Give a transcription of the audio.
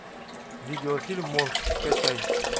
видеофильм монк скачай